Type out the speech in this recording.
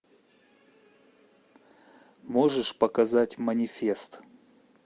можешь показать манифест